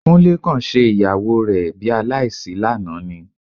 Kúnlé kàn ṣe ìyàwó rẹ bi aláìsí lánàá ni